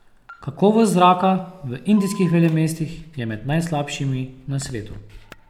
Kakovost zraka v indijskih velemestih je med najslabšimi na svetu.